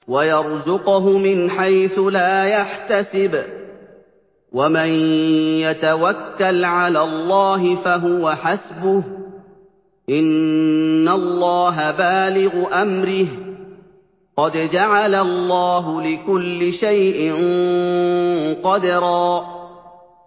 وَيَرْزُقْهُ مِنْ حَيْثُ لَا يَحْتَسِبُ ۚ وَمَن يَتَوَكَّلْ عَلَى اللَّهِ فَهُوَ حَسْبُهُ ۚ إِنَّ اللَّهَ بَالِغُ أَمْرِهِ ۚ قَدْ جَعَلَ اللَّهُ لِكُلِّ شَيْءٍ قَدْرًا